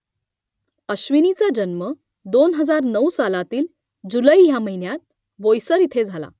अश्विनीचा जन्म दोन हजार नऊ सालातील जुलै ह्या महिन्यात बोईसर इथे झाला